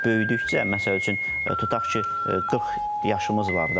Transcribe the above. Biz böyüdükcə, məsəl üçün, tutaq ki, 40 yaşımız var da.